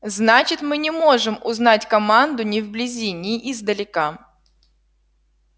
значит мы не можем узнать команду ни вблизи ни издалека